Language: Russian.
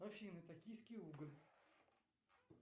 афина токийский уголь